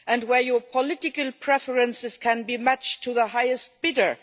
Where your political preferences can be matched to the highest bidder?